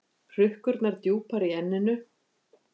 Hrukkurnar djúpar í enninu.